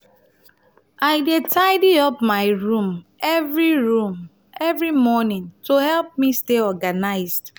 i dey tidy up my room every room every morning to help me stay organized.